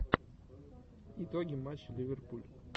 итоги матча ливерпуль